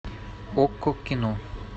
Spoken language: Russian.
окко кино